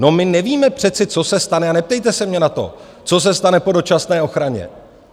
No, my nevíme přece, co se stane, a neptejte se mě na to, co se stane po dočasné ochraně.